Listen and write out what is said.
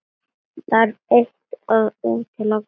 Þarf eitt að útiloka annað?